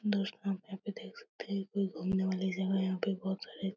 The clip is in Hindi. दोस्तों यहाँ पे यहाँ पे देख सकते है ये कोई घुमने वाली जगह है यहाँ पे बहुत सारे --